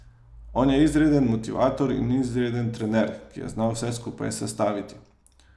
On je izreden motivator in izreden trener, ki je znal vse skupaj sestaviti.